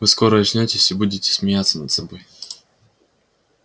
вы скоро очнётесь и будете смеяться над собой